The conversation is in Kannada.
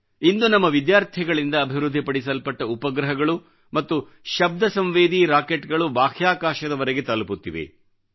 ಇಂದು ನಮ್ಮ ವಿದ್ಯಾರ್ಥಿಗಳಿಂದ ಅಭಿವೃದ್ಧಿ ಪಡಿಸಲ್ಪಟ್ಟ ಉಪಗ್ರಹಗಳು ಮತ್ತು ಶಬ್ದ ಸಂವೇದಿ ರಾಕೆಟ್ ಗಳು ಬಾಹ್ಯಾಕಾಶದವರೆಗೆ ತಲುಪುತ್ತಿವೆ